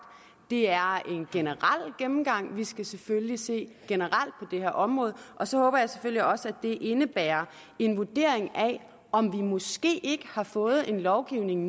det er en generel gennemgang vi skal selvfølgelig se generelt på det her område og så håber jeg selvfølgelig også at det indebærer en vurdering af om vi måske ikke har fået en lovgivning